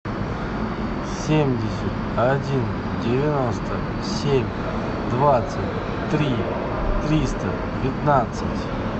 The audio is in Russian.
семьдесят один девяносто семь двадцать три триста пятнадцать